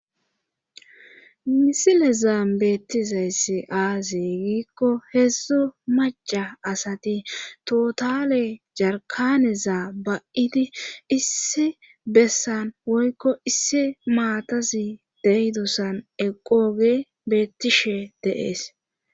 misilezaan beettizayssi aaze giikko heedzdzu maca asati totale jarkaneza ba7idi issi bessan woykko issi maatazi deydosan eqooge beettishe deees.